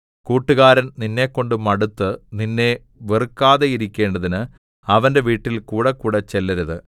കൂട്ടുകാരൻ നിന്നെക്കൊണ്ട് മടുത്ത് നിന്നെ വെറുക്കാതെയിരിക്കേണ്ടതിന് അവന്റെ വീട്ടിൽ കൂടെക്കൂടെ ചെല്ലരുത്